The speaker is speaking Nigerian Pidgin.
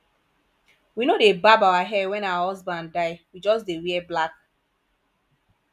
we no dey barb our hair wen our husband die we just dey wear black